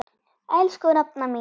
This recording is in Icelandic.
Elsku nafna mín.